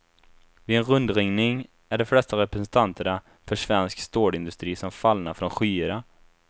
Vid en rundringning är de flesta representanterna för svensk stålindustri som fallna från skyarna.